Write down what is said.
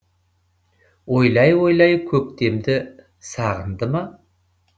ойлай ойлай көктемді сағынды ма